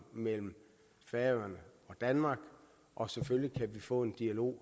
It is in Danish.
mellem færøerne og danmark og selvfølgelig kan vi få en dialog